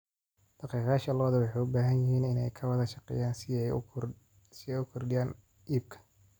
Dhaqaaqayaasha lo'du waxay u baahan yihiin inay ka wada shaqeeyaan si ay u kordhiyaan iibka.